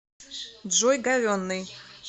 джой говенный